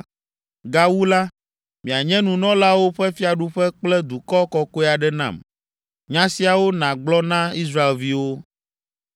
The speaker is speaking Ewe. Gawu la, mianye nunɔlawo ƒe fiaɖuƒe kple dukɔ kɔkɔe aɖe nam.’ Nya siawo nàgblɔ na Israelviwo.”